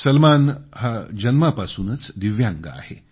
सलमान जन्मापासूनच दिव्यांग आहे